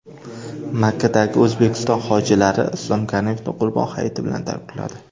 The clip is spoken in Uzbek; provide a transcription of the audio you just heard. Makkadagi O‘zbekiston hojilari Islom Karimovni Qurbon hayiti bilan tabrikladi.